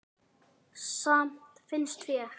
Samt finnst mér.